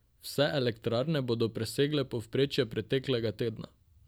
Vse elektrarne bodo presegle povprečje preteklega tedna.